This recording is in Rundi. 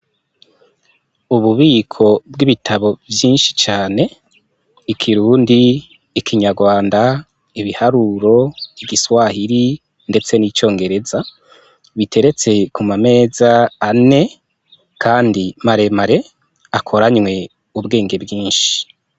Ububiko bw'ibitabo vyinshi cane :ikirundi ,ikinyarwanda ,ibiharuro, igiswahili ndetse n'icongereza, biteretse ku ma meza ane maremare akoranwe ubwenge bwinshi .